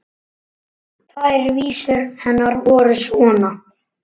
Tvær vísur hennar voru svona: